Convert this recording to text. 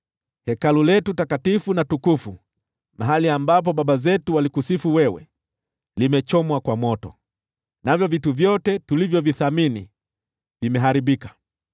Hekalu letu takatifu na tukufu, mahali ambapo baba zetu walikusifu wewe, limechomwa kwa moto, navyo vitu vyote tulivyovithamini vimeharibika.